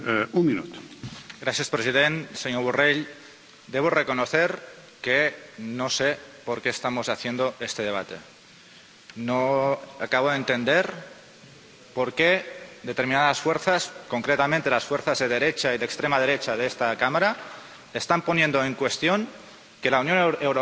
Señor presidente, señor Borrell, debo reconocer que no sé por qué estamos haciendo este debate, no acabo de entender por qué determinadas fuerzas, concretamente las fuerzas de derecha y de extrema derecha de esta Cámara, están poniendo en cuestión que la Unión Europea